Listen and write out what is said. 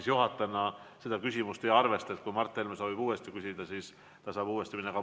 Ma juhatajana seda küsimust ei arvesta, nii et kui Mart Helme soovib, siis ta saab uuesti küsida.